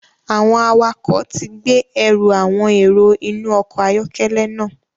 Awọn awakọ ti gbe ẹru awọn ero inu ọkọ ayọkẹlẹ náà